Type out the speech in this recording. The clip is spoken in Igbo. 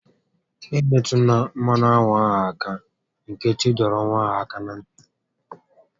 "E metụla mmanụ aṅụ ahụ áká!" Nkechi dọrọ nwa ahụ áká na ntị